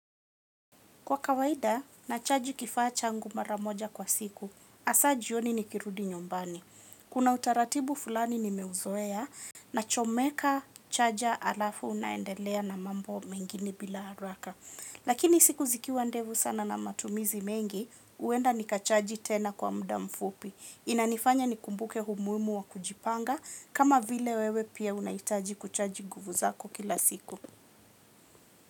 Kwa kawaida, nachaji kifacha ngu maramoja kwa siku. Asaji yoni nikirudi nyumbani. Kuna utaratibu fulani nimeuzoea na chomeka chaja alafu naendelea na mambo mengini bila haraka. Lakini siku zikiwa ndevu sana na matumizi mengi, uenda nikachaji tena kwa mdamfupi. Inanifanya nikumbuke humuimu wa kujipanga kama vile wewe pia unaitaji kuchaji guvu zako kila siku.